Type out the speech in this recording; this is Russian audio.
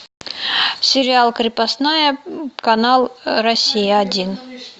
сериал крепостная канал россия один